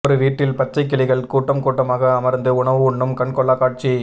ஒரு வீட்டில் பச்சை கிளிகள் கூட்டம் கூட்டமாக அமர்ந்து உணவு உண்ணும் கண்கொள்ளா காட்சி